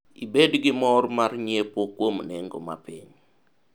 ibed gi mor mar nyiepo kuom nengo mapiny